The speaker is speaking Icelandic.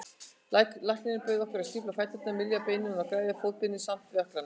Læknirinn bauð okkur að stífa fæturna, mylja beinin og græða fótarbeinin saman við ökklana.